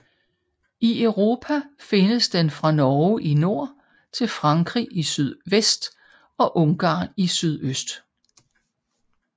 I Europa findes den fra Norge i nord til Frankrig i sydvest og Ungarn i sydøst